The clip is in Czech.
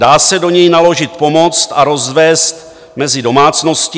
Dá se do něj naložit pomoc a rozvézt mezi domácnosti.